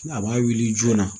A b'a wuli joona